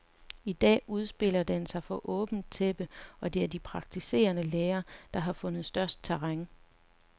I dag udspiller den sig for åbent tæppe, og det er de praktiserende læger, der har vundet størst terræn.